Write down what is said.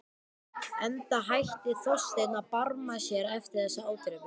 Enda hætti Þorsteinn að barma sér eftir þessa ádrepu.